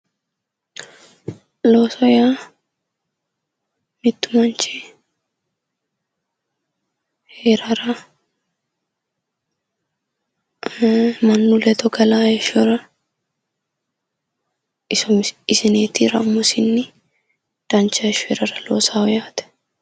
Looso yaa mittu manchi heerara mannu ledo galaa heeshshora isineetira dancha heeshsho heerara loosawo yaate